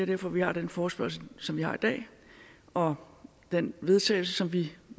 derfor vi har den forespørgsel som vi har i dag og den vedtagelse som vi